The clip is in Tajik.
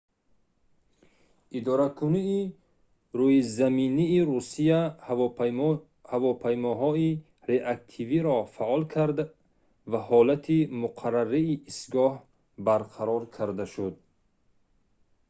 идоракунии рӯизаминии русия ҳавопаймоҳои реактивиро фаъол кард ва ҳолати муқаррарии истгоҳ барқарор карда шуд